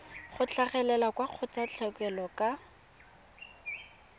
go tlhagelela kwa kgotlatshekelo ka